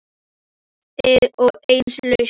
Og enn lustu Hólamenn upp sigurópi.